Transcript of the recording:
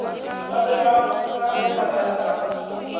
be ba nkagela ya ka